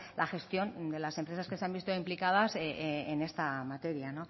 la gestión de las empresas que se han visto implicadas en esta materia